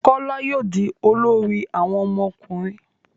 Kola yóò dì olórí àwọn ọmọkùnrin.